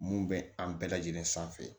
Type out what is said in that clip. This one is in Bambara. Mun bɛ an bɛɛ lajɛlen sanfɛ